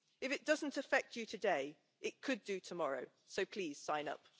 If it doesn't affect you today, it could do tomorrow, so please sign up.